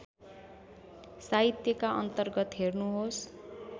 साहित्यका अन्तर्गत हेर्नुहोस्